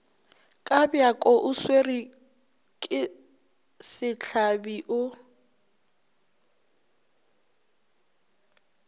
kabjako o swarwake sehlabi o